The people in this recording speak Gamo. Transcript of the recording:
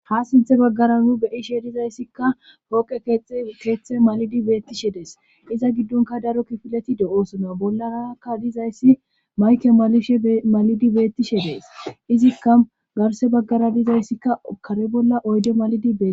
ha sinthe baggara nu beyishe dizayssikka hooqe keeththe malidi beettishe dees iza giddonka daro kifileti de7oosona bollarakka dizayssi mayke malishe malidi beettishe dees izikka garse baggara dizayssikka kare bolla oyde malidi be